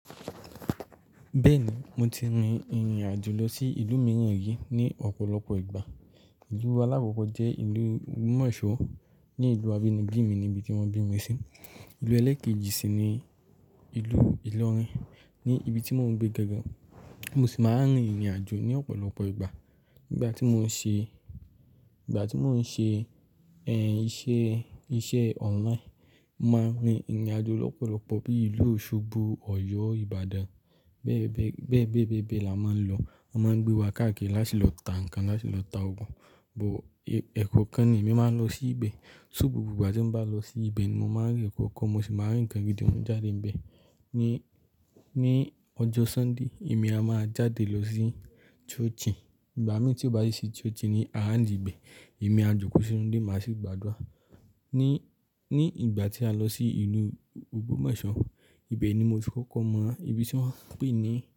Bẹ́ẹ̀ni, mo ti rin ìrìn àjò lọ sí ìlú mìíràn rí ní ọ̀pọ̀lọpọ̀ ìgbà. Ìlú alákọ́kọ̀ jẹ́ ìlú Ogbomoso ní ìlú abínibí mi ní ibi tí wọ́n bí mi sí. Ìlú ẹlẹ́ẹ̀kejì sì ni ìlú Ilorin, ní ibi tí mo ń gbé gangan Mo sì máa ń rin ìrìn àjò ní ọ̀pọ̀lọpọ̀ ìgbà. Ìgbà tí mo ń ṣe, ìgbà tí mo ń ṣe, ẹ́, iṣẹ́, iṣẹ́ online, mo máa ń rin ìrìn àjò lọ́pọ̀lọpọ̀ bí ìlú Osogbo, Ọ̀yọ́, Ibadan. Bẹ́ẹ, bẹ́ẹ, bẹ́ẹ la máa ń lọ. Wọ́n máa ń gbé wa káàkiri láti lọ ta nǹkan, láti lọ ta oògùn. Òwò ẹ̀kọ́ọ̀kan ni mí máa ń lọ sí ibẹ̀. Súù gbogbo ìgbà tí n bá lọ sí ibẹ̀ ni mo máa ń rí ẹ̀kọ́ kan, mo sì máa ń rí nǹkan gidi mú jáde níbẹ̀. Ni, ní ọjọ́ Sunday èmi a máa jáde lọ sí ṣọ́ọ̀ṣìn. Ìgbà mí tí ó bá sì sí ṣọ́ọ̀ṣì ni aráńdi ibẹ̀. Èmi à jòkó ṣí inú ilé lónìí, màá sì gbàdúrà. Ni, ní ìgbà tí a lọ sí ìlú Ogbomoso, ibẹ̀ ni mo ti kọ́kọ́ mọ ibi tí wọ́n ń pè ní.